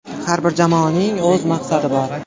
Har bir jamoaning o‘z maqsadi bor.